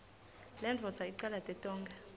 lendvodza icalate tonkhe